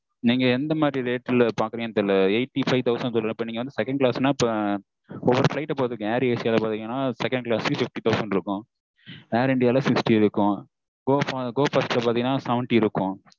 நீங்க எந்த மாதிரி rate பாக்குறீங்கன்னு தெரியல eighty-five னா second class னா இப்போ ஒரு flight ல பொருத்துங்க air asia இல்ல second class வந்து fifty thousand இருக்கும் air india வுல sixty இருக்கும் go bus ல பாத்தீங்கன்னா seventy இருக்கும்